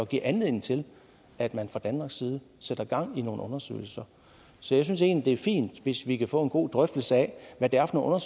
give anledning til at man fra danmarks side sætter gang i nogle undersøgelser så jeg synes egentlig det er fint hvis vi kan få en god drøftelse af hvad det er for